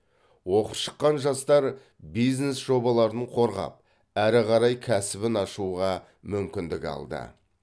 оқып шыққан жастар бизнес жобаларын қорғап әрі қарай кәсібін ашуға мүмкіндік алды